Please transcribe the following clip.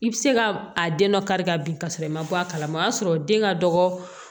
I bɛ se ka a den dɔ kari ka bin ka sɔrɔ i ma bɔ a kalama o y'a sɔrɔ den ka dɔgɔ